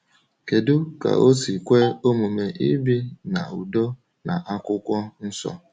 Kedu ka o si kwe omume ibi n’udo na Akwụkwọ Nsọ?